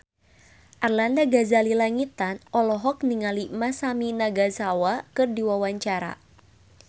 Arlanda Ghazali Langitan olohok ningali Masami Nagasawa keur diwawancara